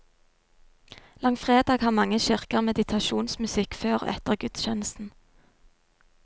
Langfredag har mange kirker meditasjonsmusikk før og etter gudstjenesten.